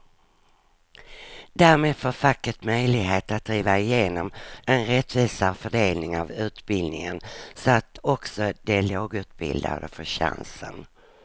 Därmed får facket möjlighet att driva igenom en rättvisare fördelning av utbildningen så att också de lågutbildade får chansen.